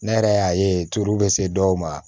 Ne yɛrɛ y'a ye turu bɛ se dɔw ma